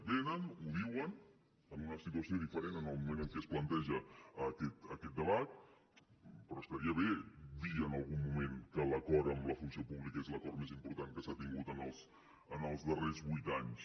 venen ho diuen en una situació diferent en el moment en què es planteja aquest debat però estaria bé dir en algun moment que l’acord amb la funció pública és l’acord més important que s’ha tingut en els darrers vuit anys